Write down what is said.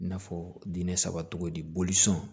I n'a fɔ diinɛ saba cogo di bolisɔn